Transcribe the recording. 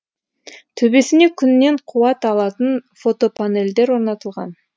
төбесіне күннен қуат алатын фотопанельдер орнатылған